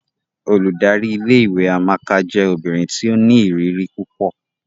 Óludari ìlé-ìwé Amaka jẹ obinrin ti o ni iriri pupọ.